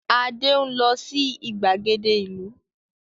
Adé ń lọ sí ìgbàgede ìlú.